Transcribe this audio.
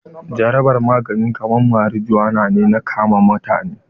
Jarabar magani kaman marijuana na kama mutane.